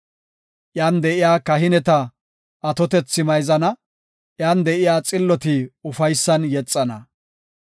Iyan de7iya kahineta atotethi mayzana; iyan de7iya xilloti ufaysan yexana.